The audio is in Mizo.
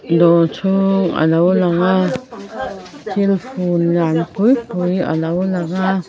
dawr chhung a lo lang a thil fun lian pui pui a lo lang a.